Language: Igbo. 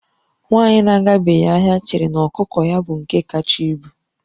Nwaanyị na-agabeghị ahịa chere na ọkụkọ ya bụ nke kacha ibu